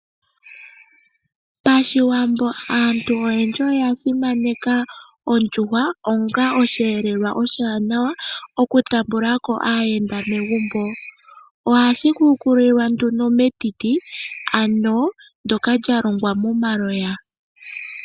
Pashiwambo aantu oyendji oya simaneka ondjuhwa, onga oshi yelelwa oshiwanawa okutambulako aayenda megumbo. ohashi hukulilwa nduno metiti ndoka dja longwa momaloya.